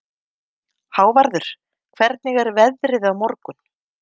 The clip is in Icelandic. Hávarður, hvernig er veðrið á morgun?